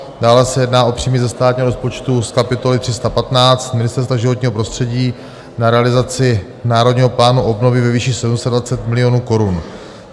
Dále se jedná o příjmy ze státního rozpočtu z kapitoly 315 Ministerstva životního prostředí na realizaci Národního plánu obnovy ve výši 720 milionů korun.